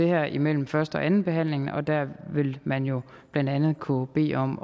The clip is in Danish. det her imellem første og andenbehandlingen der vil man jo blandt andet kunne bede om